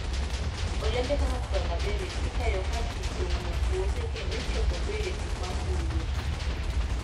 Olembe kaka cranberries ikayo ka pi oumo puothe kendo ichoko berries ma fuyo.